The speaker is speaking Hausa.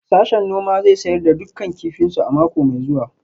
Sashen noma zai sayar da dukkan kifinsu a mako mai zuwa